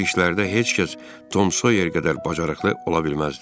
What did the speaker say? Bu cür işlərdə heç kəs Tom Soyer qədər bacarıqlı ola bilməzdi.